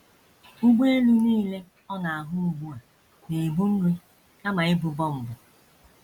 Ụgbọelu nile ọ na - ahụ ugbu a na - ebu nri kama ibu bọmbụ.